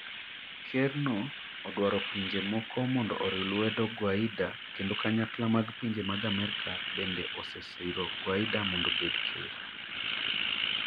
Kerno odawro pinje moko mondo oriw lwedo Guaida kendo kanyakla mag pinje mag America bende osesiro Guaida mondo obed ker.